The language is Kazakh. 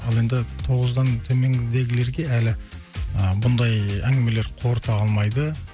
ал енді тоғыздан төменгідегілерге әлі ы бұндай әңгімелер қорыта алмайды